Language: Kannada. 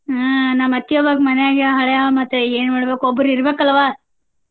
ಹಾ ನಮ್ಮ್ ಅತ್ತಿ ಒಬ್ಬಕಿ ಮನ್ಯಾಗ ಹಳೆಯವ್ಳ ಮತ್ತ ಏನ ಮಾಡ್ಬೇಕ್ ಒಬ್ರ್ ಇರ್ಬೇಕಲ್ಲವ್ವ?